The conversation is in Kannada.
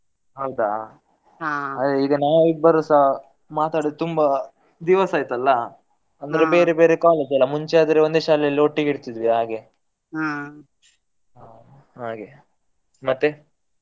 ಹೌದಾ ಈಗ ನಾವಿಬ್ಬರೂಸ ಮಾತಾಡುದು ತುಂಬಾ ದಿವಸ ಆಯ್ತಲ್ಲ ಅಂದ್ರೆ ಬೇರೆ ಬೇರೆ college ಅಲ್ಲ, ಮುಂಚೆ ಆದ್ರೆ ಒಂದೇ ಶಾಲೆಯಲ್ಲಿ ಒಟ್ಟಿಗೆ ಇರ್ತಿದ್ವಿ ಹಾಗೆ ಹಾಗೆ ಮತ್ತೆ?